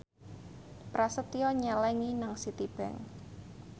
Prasetyo nyelengi nang Citibank